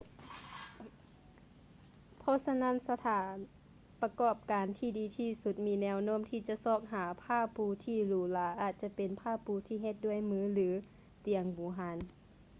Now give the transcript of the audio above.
ເພາະສະນັ້ນ ສະຖານປະກອບການທີ່ດີທີ່ສຸດມີແນວໂນ້ມທີ່ຈະຊອກຫາຜ້າປູທີ່ຫຼູຫຼາອາດຈະເປັນຜ້າປູທີ່ເຮັດດ້ວຍມື ຫຼື ຕຽງບູຮານ